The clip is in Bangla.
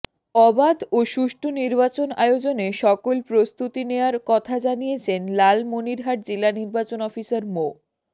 অবাধ ও সুষ্ঠু নির্বাচন আয়োজনে সকল প্রস্তুতি নেয়ার কথা জানিয়েছেন লালমনিরহাট জেলা নির্বাচন অফিসার মো